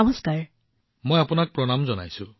সুপ্ৰীতজী মই আপোনাক প্ৰণাম জনাইছো